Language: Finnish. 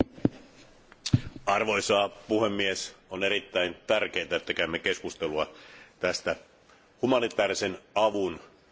Arvoisa puhemies, on erittäin tärkeää, että käymme keskustelua tästä humanitaarisen avun asiasta.